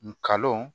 Nkalon